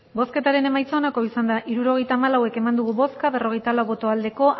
hirurogeita hamalau eman dugu bozka berrogeita lau bai